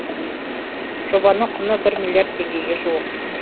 жобаның құны бір миллиард теңгеге жуық